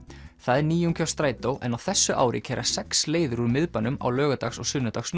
það er nýjung hjá strætó en á þessu ári keyra sex leiðir úr miðbænum á laugardags og